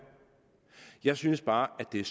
jeg synes bare at det er